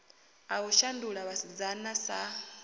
a u shandula vhasidzana sa